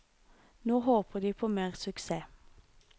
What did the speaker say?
Nå håper de på mer suksess.